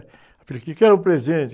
A filha, quero um presente.